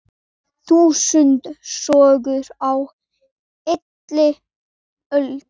Þúsund sögur á heilli öld.